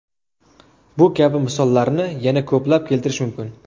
Bu kabi misollarni yana ko‘plab keltirish mumkin.